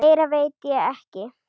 Meira veit ég ekki.